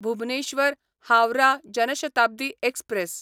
Bhubaneswar Howrah Jan Shatabdi express